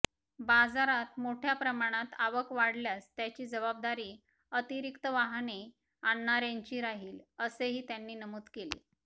बाजारात मोठ्या प्रमाणात आवक वाढल्यास त्याची जबाबदारी अतिरिक्त वाहने आणणार्यांची राहिल असेही त्यांनी नमूद केले